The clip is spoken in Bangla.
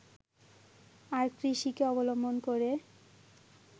আর কৃষিকে অবলম্বন করে